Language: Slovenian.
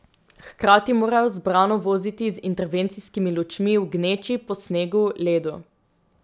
Hkrati morajo zbrano voziti z intervencijskimi lučmi v gneči, po snegu, ledu ...